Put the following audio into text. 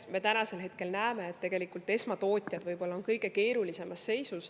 Me täna näeme, et tegelikult esmatootjad võivad olla kõige keerulisemas seisus.